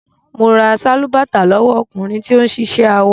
Mo ra sálúbàtà lówọ́ ọkùnrin tí ó ń ṣiṣẹ́ awọ.